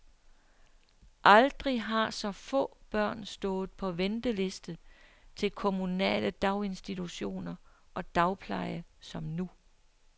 Aldrig har så få børn stået på venteliste til kommunale daginstitutioner og dagpleje som nu.